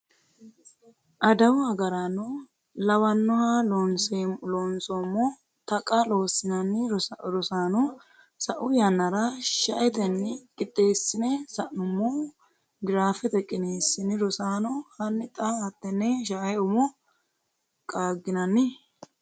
adawu agarano lawanoha Loonseemmo Taqa Loossinanni Rosaano sa’u yannara shaetenni qixxeessine sa’nummo giraafete qiniishshi Rasaano, hanni xa hattenne sha’e umo qaagginanni?